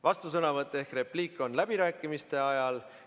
Vastusõnavõtt ehk repliik on läbirääkimiste ajal.